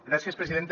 gràcies presidenta